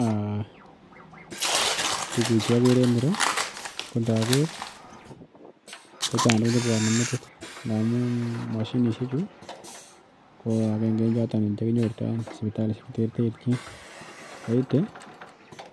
um tukuchu akere en ireo ko inoker kochang tuguk che buane metit ndamun machinisiek chu ko akenke en choton che kinyorto sibitalishek cheterterchin soiti